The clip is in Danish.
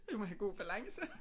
Du må have god balance